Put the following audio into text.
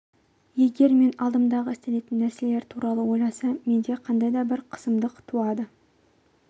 егер мен алдымдағы істелетін нәрселер туралы ойласам менде қандайда бір қысымдық туады